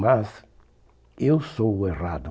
Mas eu sou o errado.